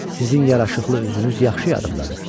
Sizin yaraşıqlı üzünüz yaxşı yanımdadır.